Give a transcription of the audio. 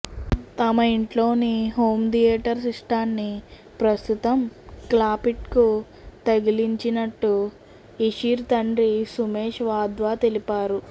తమ ఇంట్లోని home theatre సిస్టాన్ని ప్రస్తుతం క్లాపిట్కు తగిలించినట్లు ఇషిర్ తండ్రి సుమేశ్ వాద్వా తెలిపారు